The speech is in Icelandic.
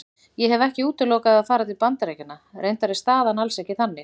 Ég hef ekki útilokað að fara til Bandaríkjanna, reyndar er staðan alls ekki þannig.